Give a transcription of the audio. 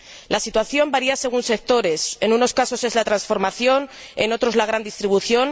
La situación varía según sectores en unos casos es la transformación, en otros la gran distribución